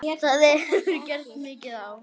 Það hefur gengið mikið á!